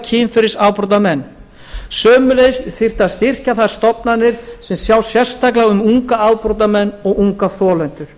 kynferðisafbrotamenn sömuleiðis þyrfti að styrkja þær stofnanir sem sjá sérstaklega um unga afbrotamenn og unga þolendur